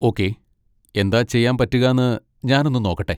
Okay, എന്താ ചെയ്യാൻ പറ്റുകാന്ന് ഞാനൊന്ന് നോക്കട്ടെ.